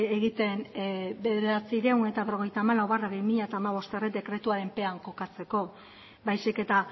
egiten bederatziehun eta berrogeita hamalau barra bi mila hamabost dekretuaren pean kokatzeko baizik eta